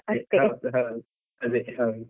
ಹೌದು, ಅದೆ ಹೌದು.